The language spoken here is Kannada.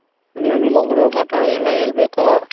ಇನ್ನೇನಿಲ್ಲಾ ಗುರು ಮಾತಾಡ್ ಎಲ್ಲ ಹೇಳಬೇಕು.